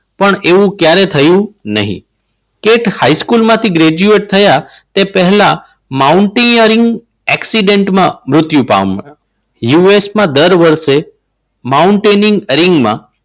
પણ એવું ક્યારેય થયું નહીં. કેટ હાઈસ્કૂલ માંથી ગ્રેજ્યુએટ થયા એ પહેલા માઉન્ટ એકસીડન્ટમાં મૃત્યુ પામ્યા. યુએસમાં દર વર્ષે